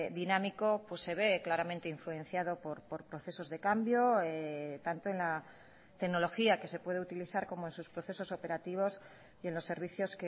dinámico se ve claramente influenciado por procesos de cambio tanto en la tecnología que se puede utilizar como en sus procesos operativos y en los servicios